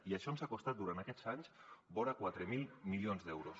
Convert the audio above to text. i això ens ha costat durant aquests anys vora quatre mil milions d’euros